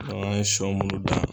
an ye sɔ munnu dan